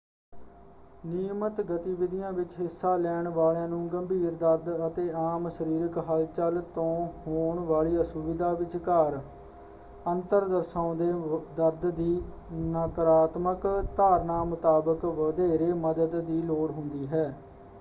ਨਿਯਮਤ ਗਤੀਵਿਧੀਆਂ ਵਿੱਚ ਹਿੱਸਾ ਲੈਣ ਵਾਲਿਆਂ ਨੂੰ ਗੰਭੀਰ ਦਰਦ ਅਤੇ ਆਮ ਸਰੀਰਕ ਹਲਚਲ ਤੋਂ ਹੋਣ ਵਾਲੀ ਅਸੁਵਿਧਾ ਵਿਚਕਾਰ ਅੰਤਰ ਦਰਸਾਉਂਦੇ ਦਰਦ ਦੀ ਨਕਾਰਾਤਮਕ ਧਾਰਨਾ ਮੁਤਾਬਕ ਵਧੇਰੇ ਮਦਦ ਦੀ ਲੋੜ ਹੁੰਦੀ ਹੈ।